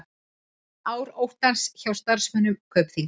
Ár óttans hjá starfsmönnum Kaupþings